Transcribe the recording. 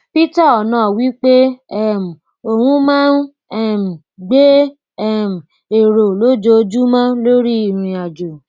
peter onoh wí pé um òun máa ń um gbé um èrò lójoojúmọ lórí ìrìnàjò